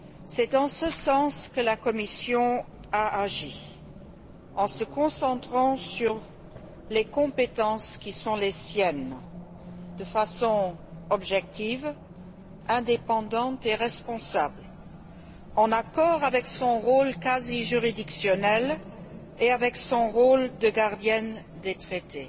C'est en ce sens que la Commission a agi, en se concentrant sur les compétences qui sont les siennes de façon objective, indépendante et responsable, en accord avec son rôle quasi juridictionnel et avec son rôle de gardienne des traités.